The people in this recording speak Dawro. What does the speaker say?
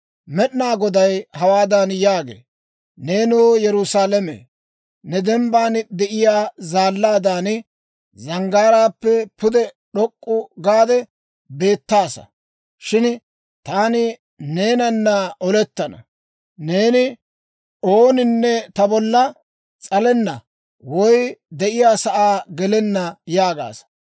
Med'inaa Goday hawaadan yaagee; «Neenoo, Yerusaalame, neeni dembban de'iyaa zaallaadan, zanggaaraappe pude d'ok'k'u gaade beettaasa; shin taani neenanna olettana. Neeni, ‹Ooninne ta bolla s'alenna woy ta de'iyaasaa gelenna› yaagaasa;